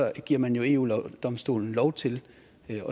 giver man jo eu domstolen lov til at